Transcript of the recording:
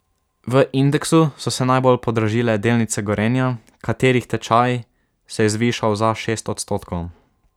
V indeksu so se najbolj podražile delnice Gorenja, katerih tečaj se je zvišal za šest odstotkov.